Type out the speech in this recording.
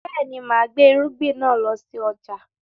Bẹ́ẹ̀ni, máa gbé irúgbìn náà lọ sí ọjà